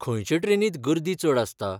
खंयचे ट्रेनींत गर्दी चड आसता?